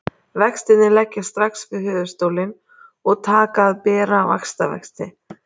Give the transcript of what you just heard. Vextirnir leggjast strax við höfuðstólinn og taka að bera vaxtavexti.